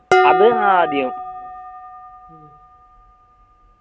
അത് ആദ്യം